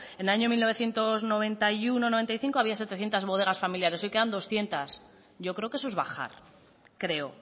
en el año mil novecientos noventa y uno noventa y cinco había setecientos bodegas familiares hoy quedan doscientos yo creo que eso es bajar creo